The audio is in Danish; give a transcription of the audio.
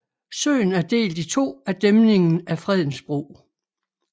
Søen er delt i to af dæmningen af Fredensbro